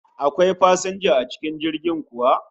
Akwai fasinja a cikin jirgin kuwa?